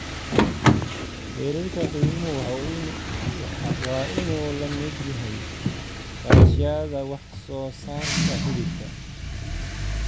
Heerarka qiimuhu waa inuu la mid yahay kharashyada wax soo saarka hilibka.